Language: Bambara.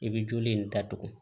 I bɛ joli in datugu